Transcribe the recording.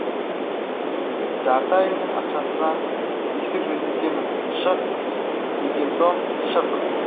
жарты айыңның ақшасына есік жөндетемін шық деген соң шық